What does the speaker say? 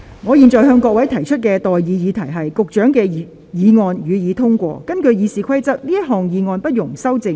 我現在向各位提出的待議議題是：民政事務局局長動議的議案，予以通過。